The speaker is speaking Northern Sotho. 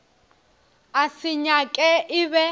a se nyaka e be